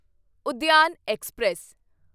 Udyan express